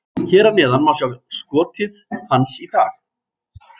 Hér að neðan má sjá skotið hans í dag: